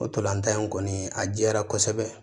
O ntolan tan in kɔni a jɛya kosɛbɛ